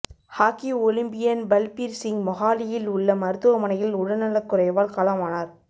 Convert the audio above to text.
hockey Olympian Balbir Singh மொஹாலியில் உள்ள மருத்துவமனையில் உடல்நலக்குறைவால் காலமானார்